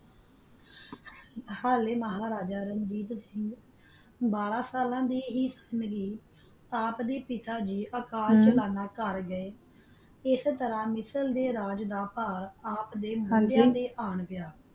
ਹਾਲਾ ਮਹਾ ਰਾਜਾ ਬਾਰਾ ਸਾਲਾ ਦਾ ਸੀ ਕਾ ਆਪ ਕਾ ਆਪ ਦਾ ਪਿਤਾ ਗ ਕਾਰ ਚਲਾਂਦਾ ਮਾਰ ਗਯਾ ਅਸ ਤਾਰਾ ਮਿਸ਼ਰ ਦਾ ਰਾਜ ਦਾ ਪਾ ਆਪ ਦਾ ਕੰਡਾ ਤਾ ਆ ਗਯਾ